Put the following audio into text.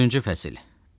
Dördüncü fəsil.